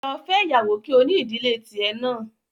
Lọ fẹ́yàwó kí o ní ìdílé tì ẹ náà